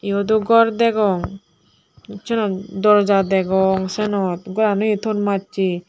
yot o gor degong senot dorja degong senot goran uio ton massey.